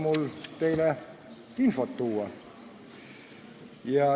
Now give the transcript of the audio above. Mul on teile infot tuua.